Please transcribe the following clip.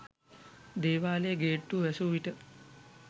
දේවාලයේ ගේට්ටුව වැසූවිට